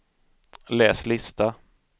läs lista